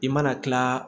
I mana tila